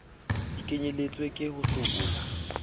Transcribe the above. di kenyelletswe le ho hlabollwa